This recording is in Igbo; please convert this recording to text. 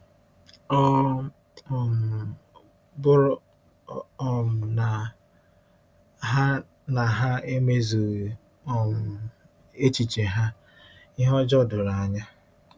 Ọ um bụrụ um na ha na ha emezughị um echiche ha, ihe ọjọọ doro anya.